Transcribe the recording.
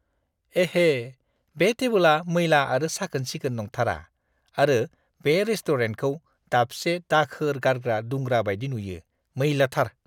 एहे! बे टेबोला मैला आरो साखोन-सिखोन नंथारा आरो बे रेस्ट'रेन्टखौ दाबसे दाखोर गारग्रा दुंग्रा बायदि नुयो, मैला थार !